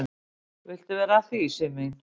"""Viltu vera að því, Sif mín?"""